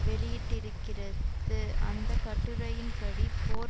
வெளியிட்டிருக்கிறது அந்த கட்டுரையின்படி போர்